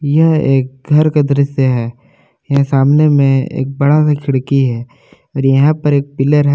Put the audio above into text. यह एक घर का दृश्य है यहां सामने में एक बड़ा से खिड़की है और यहां पर एक पिलर है।